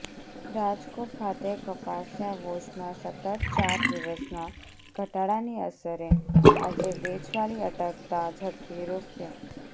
રાજકોટ ખાતે કપાસિયા વોશમાં સતત ચાર દિવસના ઘટાડાની અસરે આજે વેચવાલી અટકતા ઝડપી રૂ